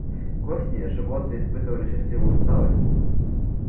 к осени животные испытывали счастливую усталость